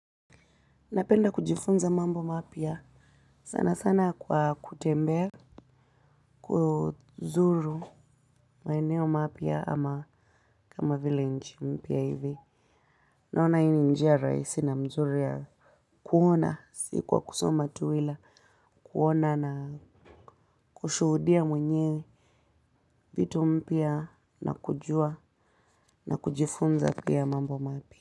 Napenda kujifunza mambo mapya. Sana sana kwa kutembea. Kuzuru maeneo mapya ama kama vile nchi mpya hivi. Naona hii ni njia rahisi na mzuri ya kuona. Si kwa kusoma tu ila. Kuona na kushuhudia mwenyewe. Vitu mpya na kujua na kujifunza pia mambo mapya.